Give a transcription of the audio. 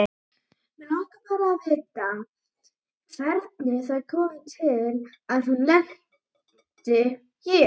Mig langar bara að vita hvernig það kom til að hún lenti hér.